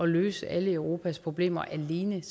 løse alle europas problemer alene